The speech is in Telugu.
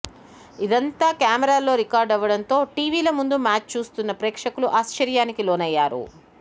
ఇదంతా కెమెరాల్లో రికార్డువ్వడంతో టీవీల ముందు మ్యాచ్ చూస్తున్న ప్రేక్షకులు ఆశ్చర్యానికి లోనయ్యారు